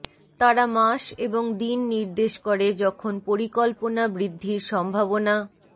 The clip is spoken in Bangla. তারা মাস এবং দিন নির্দেশ করে যখন পরিকল্পনা বৃদ্ধির সম্ভাবনা